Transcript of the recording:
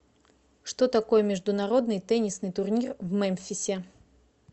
что такое международный теннисный турнир в мемфисе